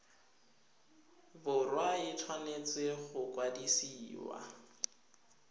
borwa e tshwanetse go kwadisiwa